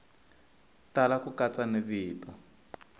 tala ku katsa ni vito